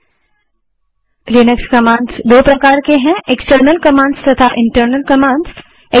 Linux commands दो प्रकार की हैं160 एक्सटर्नल कमांड्स तथा इंटरनल कमांड्स